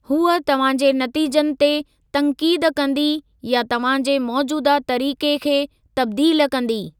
हूअ तव्हां जे नतीजनि ते तंक़ीद कंदी या तव्हां जे मोजूदह तरीक़े खे तब्दील कंदी।